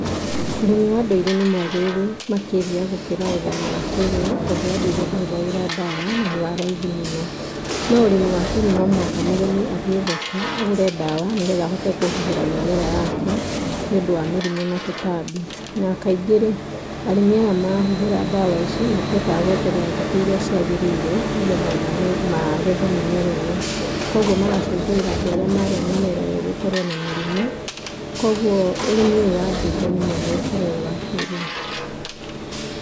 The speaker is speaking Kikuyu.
Ũrĩmi wa ndũire nĩmwagĩrĩrũ makĩria gũkĩra ũrĩmi wa kĩĩrĩu tũndũ wa ndũire ndũhũthagĩra ndawa na nĩwaraithi mũno, no ũrĩmi wa kĩĩrĩu nomũhaka mũrĩmi agũrĩ ndawa nĩgetha ahuhĩrĩ mĩrimũ na tũtambi, nakaingĩ arĩmi aya mahuhĩrĩ ndawa ici matihotaga gweterera thĩkũ iria ciagĩrĩire nĩgĩtha magĩthe mĩmera ĩyo, kogũo magacũngĩrĩra andũ arĩa marĩa mĩmera ĩyo gũkorwo na mĩrimũ. Kogũo ũrũmi ũyũ wa ndũire nĩmwega gũkĩra wa kĩĩrĩu.